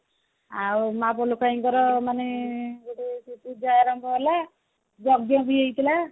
ଲୋକଙ୍କର ମାନେ ଗୋଟେ ଆରମ୍ଭ ହେଲା ଯଜ୍ଞ ବି ହେଇଥିଲା